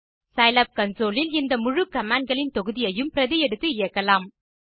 Scilab console இல் இந்த முழு commandகளின் தொகுதியையும் பிரதி எடுத்து இயக்கலாம்